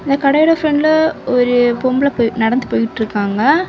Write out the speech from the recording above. இந்த கடையில ஃப்ரண்ட்ல ஒரு பொம்பள போயி நடந்து போயிட்டிருக்காங்க.